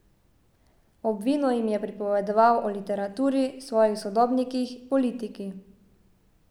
Ob vinu jim je pripovedoval o literaturi, svojih sodobnikih, politiki.